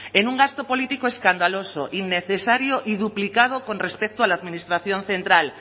en un gasto político escandaloso innecesario y duplicado con respecto a la administración central